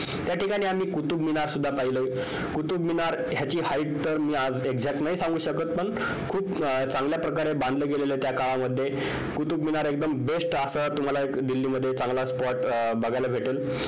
त्या ठिकाणी आम्ही कुतुबमिनार सुद्धा पाहिलं कुतुबमिनार ह्याची height आज तर exact नाही सांगू शकत पण खूप चांगल्या प्रकारे बांधलं गेलेलं आहे ते त्या काळामध्ये कुतुबमिनार best असा तुम्हाला दिल्लीमध्ये एक चांगला spot बघायला भेटेल